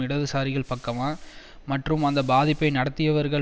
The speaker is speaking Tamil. இடதுசாரிகளின் பக்கமா மற்றும் அந்த பாதிப்பை நடத்தியவர்கள்